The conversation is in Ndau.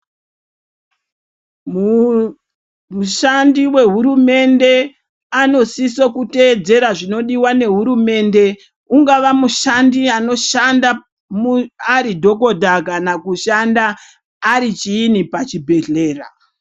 Mu shandi we hurumende ano sisa kuteedzera zvinodiwa ne hurumende ungava mushandi anoshanda ari dhokodha kana kushanda ari chiinyi pa chibhedhlera.